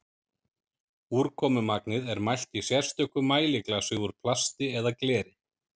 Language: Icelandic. úrkomumagnið er mælt í sérstöku mæliglasi úr plasti eða gleri